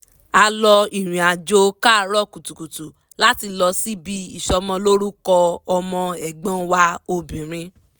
a lọ ìrìnàjò káàrọ̀ kùtùkùtù láti lọ síbi ìsọmọlórúkọ ọmọ ẹ̀gbọ́n wa obìnrin